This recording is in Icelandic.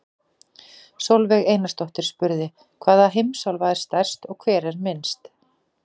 Sólveig Einarsdóttir spurði: Hvaða heimsálfa er stærst og hver er minnst?